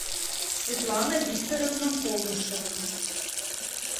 светлана викторовна повышева